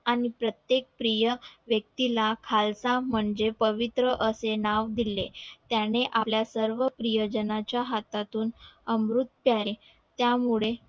प्रत्येक प्रिय व्यक्ती ला खालसा म्हणजे प्रवित्र असे नाव दिले त्यानी आपल्या सर्व प्रिय जणांच्या हातातून अमृत प्याले त्या मुळे